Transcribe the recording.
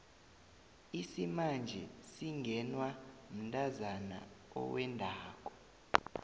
isimanje singenwa mntazana owendako